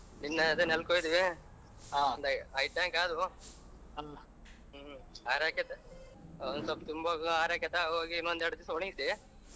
ಅದೇ ನೆಲಕೊದವಿ ಒಂದ್ ಐದ್ tank ಆದವು .